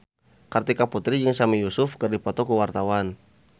Kartika Putri jeung Sami Yusuf keur dipoto ku wartawan